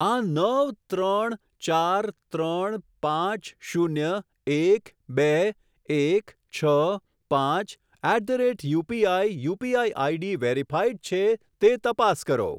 આ નવ ત્રણ ચાર ત્રણ પાંચ શૂન્ય એક બે એક છ પાંચ at the rate UPI UPI ID verified છે તે તપાસ કરો.